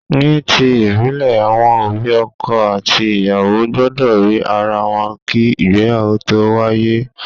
Ní ti ìbílè, àwọn òbí ọkọ àti ìyàwó gbúdọ̀ rí ara wọn kí ìgbéyàwó tó wáyé.